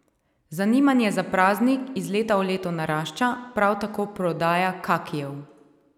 Zanimanje za praznik iz leta v leto narašča, prav tako prodaja kakijev.